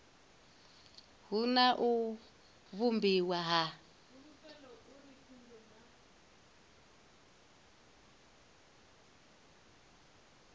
hu na u vhumbiwa ha